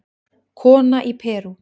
Kona í Perú